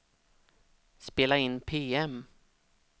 spela in PM